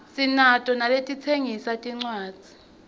sinato naletitsengisa tincuadzi